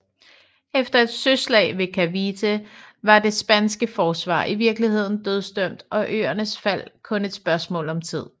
Efter et søslag ved Cavite var det spanske forsvar i virkeligheden dødsdømt og øernes fald kun et spørgsmål om tid